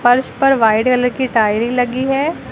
फर्श पर white colour की टाइरि लगी है।